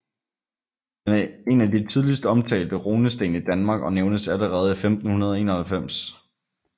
Den er en af de tidligst omtalte runesten i Danmark og nævnes allerede i 1591